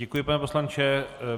Děkuji, pane poslanče.